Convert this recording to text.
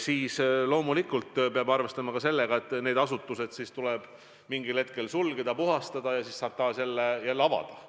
siis loomulikult peab arvestama ka sellega, et need asutused tuleb mingil hetkel sulgeda, puhastada ja siis saab need taas avada.